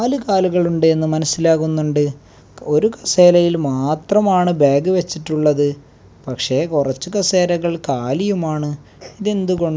നാല് കാലുകൾ ഉണ്ടെന്ന് മനസ്സിലാകുന്നുണ്ട് ഒരു കസേരയിൽ മാത്രമാണ് ബാഗ് വെച്ചിട്ടുള്ളത് പക്ഷേ കുറച്ചു കസേരകൾ കാലിയുമാണ് ഇത് എന്തുകൊണ്ട്?